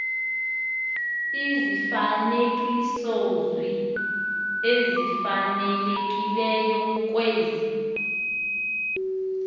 izifanekisozwi ezifanelekileyo kwezi